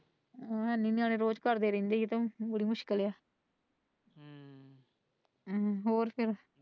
ਹੈ ਨਹੀਂ ਨਾਲੇ ਰੋਜ਼ ਭਰਦੇ ਰਹਿੰਦੇ ਹੈ ਤੇ ਬੜੀ ਮੁਸ਼ਕਿਲ ਹੈ।